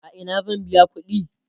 a Ina zan biya ƙuɗi?